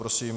Prosím.